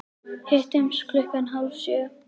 Hittumst klukkan hálf sjö.